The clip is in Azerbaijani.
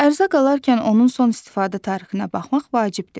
Ərzaq alarkən onun son istifadə tarixinə baxmaq vacibdir.